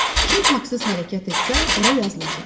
Kim haqsız hərəkət etsə, ora yazılacaq.